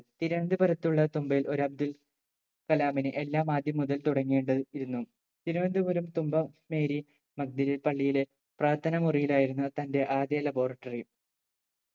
തിരുവന്തപുരത്തുള്ള തുമ്പയിൽ ഒരു അബ്ദുൽ കലാമിന് എല്ലാം ആദ്യം മുതൽ തുടങ്ങേണ്ടത് ഇരുന്നു തിരുവനന്തപുരം തുമ്പ മേരി മധ്യ പള്ളിയിലെ പ്രാർത്ഥന മുറിയിലായിരുന്നു തന്റെ ആധ്യ labortary